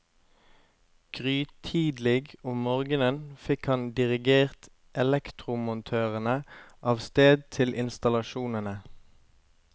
Grytidlig om morgenen fikk han dirigert elektromontørene av sted til installasjonene.